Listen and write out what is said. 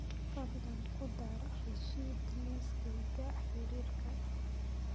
fadlan ku dar rashid liiskayga xiriirka